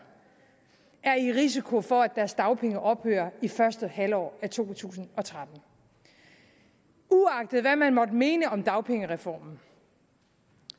er i risiko for at deres dagpenge ophører i første halvår af to tusind og tretten uagtet hvad man måtte mene om dagpengereformen